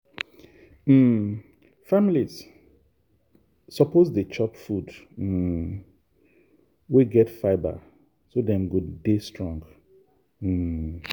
um families suppose dey chop food um wey get fibre so dem go dey strong. um